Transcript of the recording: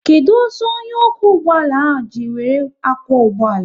Kedụ ọsọ onye okwu ụgbọala ahụ ji wéré akwo ụgbọala?